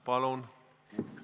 Palun!